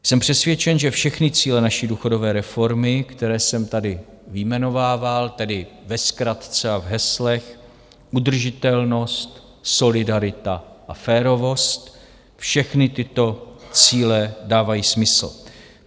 Jsem přesvědčen, že všechny cíle naší důchodové reformy, které jsem tady vyjmenovával, tedy ve zkratce a v heslech udržitelnost, solidarita a férovost, všechny tyto cíle dávají smysl.